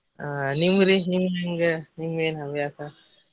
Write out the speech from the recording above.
ಹಾ ನಿಮ್ಗ್ ರಿ ನೀವ್ ಹೆಂಗ ನಿಮ್ಗ್ ಏನ್ ಹವ್ಯಾಸ?